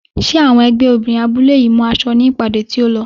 Ṣé àwọn ẹgbẹ́ obìnrin abúlé yìí mú aṣọ ní ìpàdé tí ó lọ?